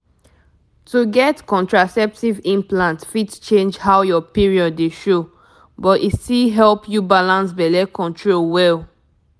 to get contraceptive implant fit change how your period dey show — but e still help you balance belle control well.